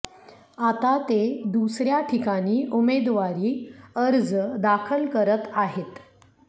आता ते दुसऱ्या ठिकाणी उमेदवारी अर्ज दाखल करत आहेत